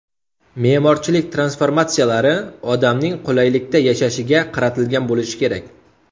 Me’morchilik transformatsiyalari odamning qulaylikda yashashiga qaratilgan bo‘lishi kerak.